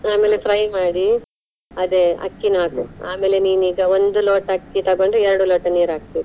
ಆಮೇಲೆ fry ಮಾಡಿ, ಅದೇ ಅಕ್ಕಿನು ಆಮೇಲೆ ನೀನ್ ಈಗ ಒಂದು ಲೋಟ ಅಕ್ಕಿ ತಗೊಂಡು ಎರಡು ಲೋಟ ನೀರ್ ಹಾಕ್ಬೇಕು.